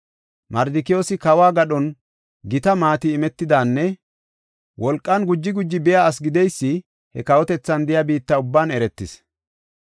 Mardikiyoosi kawo gadhon gita maati imetidanne wolqan guji guji biya asi gideysi he kawotethan de7iya biitta ubban eretis.